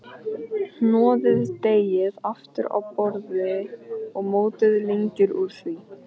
Hnoðið deigið aftur á borði og mótið lengjur úr því.